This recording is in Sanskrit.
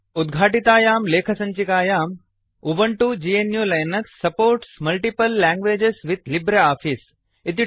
उद्घाटितायां लेखसञ्चिकायां उबुन्तु gnuलिनक्स supports multiple languages with LibreOffice